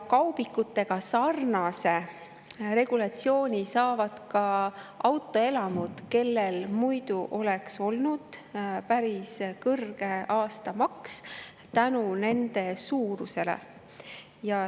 Kaubikutega sarnase regulatsiooni saavad ka autoelamud, millel muidu oleks olnud päris kõrge aastamaks nende suuruse tõttu.